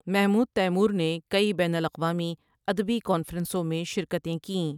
Mahmood Taymour نے کئی بین الاقوامی ادبی کانفرنسوں میں شرکتیں کیں ۔